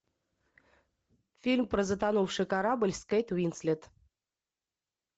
фильм про затонувший корабль с кейт уинслет